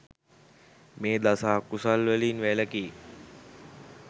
මේ දස අකුසල් වලින් වැළැකී